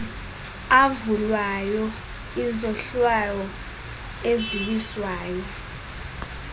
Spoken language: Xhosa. avulwayo izohlwaho eziwiswayo